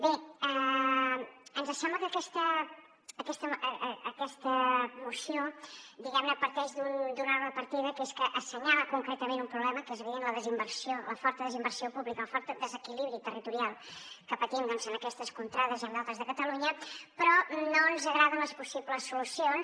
bé ens sembla que aquesta moció parteix d’un error de partida que és que assenyala concretament un problema que és evident la desinversió la forta desinversió pública el fort desequilibri territorial que patim en aquestes contrades i en d’altres de catalunya però no ens agraden les possibles solucions